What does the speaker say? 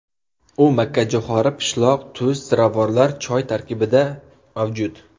U makkajo‘xori, pishloq, tuz, ziravorlar, choy tarkibida mavjud.